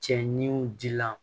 Cɛ niw dila